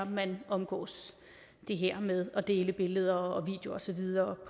man omgås det her med at dele billeder og videoer og så videre